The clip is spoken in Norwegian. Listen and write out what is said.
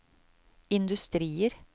industrier